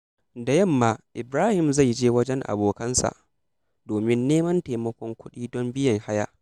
Da yamma, Ibrahim zai je wajen abokansa domin neman taimakon kuɗi don biyan haya.